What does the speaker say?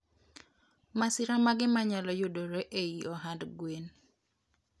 masira mage manyalo yudore eiy ohand gwen?